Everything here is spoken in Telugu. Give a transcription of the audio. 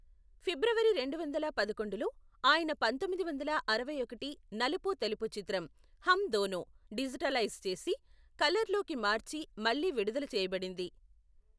ఫిబ్రవరి రెండువందల పదకొండులో, ఆయన పంతొమ్మిది వందల అరవై ఒకటి నలుపు తెలుపు చిత్రం హమ్ దోనో డిజిటలైజ్ చేసి, కలర్లోకి మార్చి, మళ్ళీ విడుదల చేయబడింది.